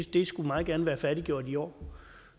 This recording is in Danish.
de skulle meget gerne være færdiggjort i år